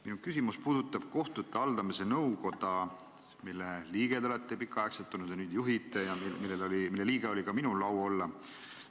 Minu küsimus puudutab kohtute haldamise nõukoda, mille liige te olete pikka aega olnud, mida te nüüd juhite ja mille liige oli ka minul au olla.